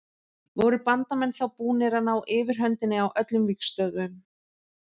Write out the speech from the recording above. Voru Bandamenn þá búnir að ná yfirhöndinni á öllum vígstöðvum.